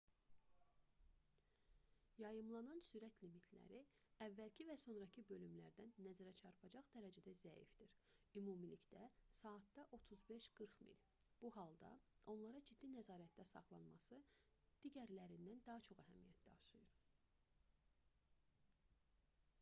yayımlanan sürət limitləri əvvəlki və sonrakı bölümlərdən nəzərəçarpacaq dərəcədə zəifdir — ümumilikdə saatda 35–40 mil 56–64 km/s bu halda onlara ciddi nəzarətdə saxlanması digərlərindən də çox əhəmiyyət daşıyır